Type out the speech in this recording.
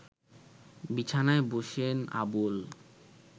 বিছানায় বসেন আবুল